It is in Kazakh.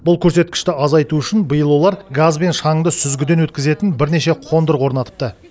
бұл көрсеткішті азайту үшін биыл олар газ бен шаңды сүзгіден өткізетін бірнеше қондырғы орнатыпты